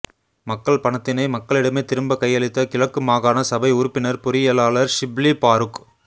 மக்கள் பணத்தினை மக்களிடமே திரும்ப கையளித்த கிழக்கு மாகாண சபை உறுப்பினர் பொறியியலாளர் ஷிப்லி பாறுக்